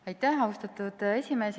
Aitäh, austatud esimees!